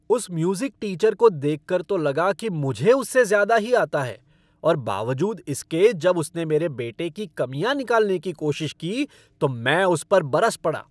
उस music teacher को देखकर तो लगा कि मुझे उससे ज़्यादा ही आता है और बावजूद इसके जब उसने मेरे बेटे की कमियां निकालने की कोशिश की, तो मैं तो उस पर बरस पड़ा।